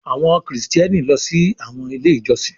Àwọn Kristiani ló sì àwọn ilé ìjósìn.